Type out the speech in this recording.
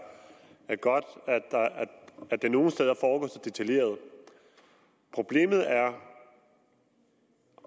godt at det nogle steder foregår så detaljeret problemet er